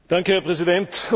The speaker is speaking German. Herr Präsident!